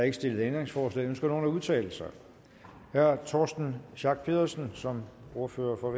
ikke stillet ændringsforslag ønsker nogen at udtale sig herre torsten schack pedersen som ordfører for